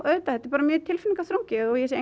auðvitað þetta er bara mjög tilfinningaþrungið og ég sé